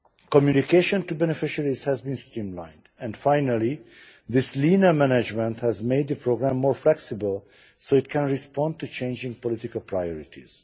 Communication to beneficiaries has been streamlined and, finally, this leaner management has made the programme more flexible, so that it can respond to changing political priorities.